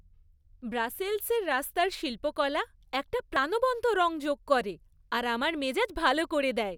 ব্রাসেলসের রাস্তার শিল্পকলা একটা প্রাণবন্ত রঙ যোগ করে আর আমার মেজাজ ভাল করে দেয়।